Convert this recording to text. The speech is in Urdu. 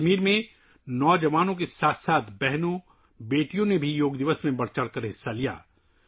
کشمیر میں نوجوانوں کے ساتھ ساتھ بہنوں اور بیٹیوں نے بھی یوگا ڈے میں جوش و خروش سے حصہ لیا